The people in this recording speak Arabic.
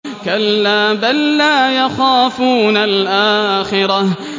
كَلَّا ۖ بَل لَّا يَخَافُونَ الْآخِرَةَ